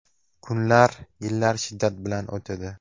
Kunlar, yillar shiddat bilan o‘tadi.